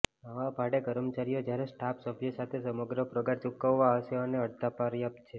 નવા ભાડે કર્મચારીઓ જ્યારે સ્ટાફ સભ્ય સાથે સમગ્ર પગાર ચૂકવવા હશે અને અડધા પર્યાપ્ત છે